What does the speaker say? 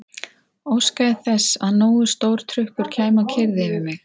Óskaði þess að nógu stór trukkur kæmi og keyrði yfir mig.